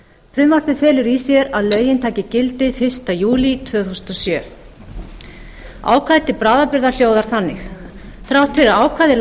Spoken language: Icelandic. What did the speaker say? frumvarpið felur í sér að lögin taki gildi fyrsta júlí tvö þúsund og sjö ákvæði til bráðabirgða hljóðar þannig þrátt fyrir ákvæði